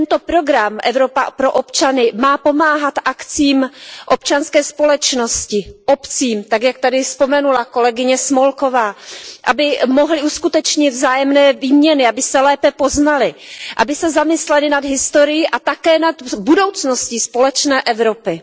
Program Evropa pro občany má pomáhat akcím občanské společnosti, obcím, tak jak tady vzpomenula kolegyně Smolková, aby mohly uskutečnit vzájemné výměny, aby se lépe poznaly, aby se zamyslely nad historií a také nad budoucností společné Evropy.